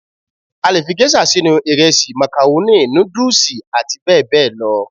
A le fi Géṣà sínú ìrẹsì, màkàrónì, nùdùsì àti bẹ́ẹ̀ bẹ́ẹ̀ lọ